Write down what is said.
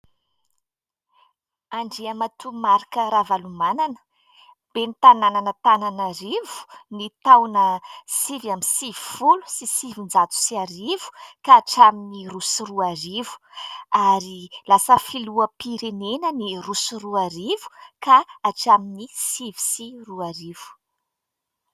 Andriamatoa Marc Ravalomanana ben'ny tanànan' Antananarivo ny taona sivy amby sivifolo sy sivinjato sy arivo ka hatramin'ny roa sy roa arivo, ary lasa filoham-pirenena ny roa sy roa arivo ka hatramin'ny sivy sy roa arivo.